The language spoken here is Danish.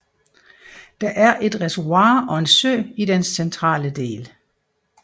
Der er et reservoir og en sø i dens centrale del